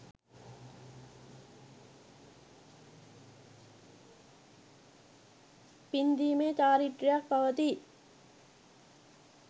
පින්දීමේ චාරිත්‍රයක් පවතී.